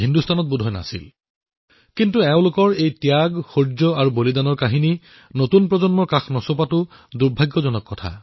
কিন্তু দুৰ্ভাগ্যৰ কথা এয়ে যে তেওঁলোকৰ ত্যাগ শৌৰ্য আৰু বলিদানৰ কাহিনীয়ে নতুন প্ৰজন্মক স্পৰ্শই কৰিব পৰা নাই